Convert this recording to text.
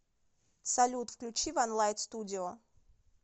салют включи ван лайт студио